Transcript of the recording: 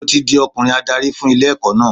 Mo ti di ọkùnrin adarí fún ilé ẹ̀kọ́ náà.